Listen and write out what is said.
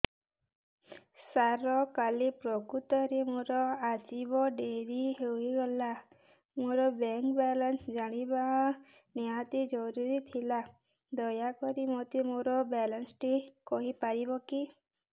ସାର କାଲି ପ୍ରକୃତରେ ମୋର ଆସିବା ଡେରି ହେଇଗଲା ମୋର ବ୍ୟାଙ୍କ ବାଲାନ୍ସ ଜାଣିବା ନିହାତି ଜରୁରୀ ଥିଲା ଦୟାକରି ମୋତେ ମୋର ବାଲାନ୍ସ ଟି କହିପାରିବେକି